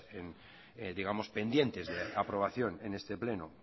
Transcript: digamos pendientes de aprobación en este pleno